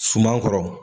Suman kɔrɔ